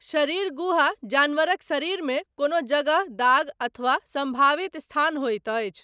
शरीर गुहा, जानवरक शरीरमे कोनो जगह, दाग, अथवा सम्भावित स्थान होइत अछि।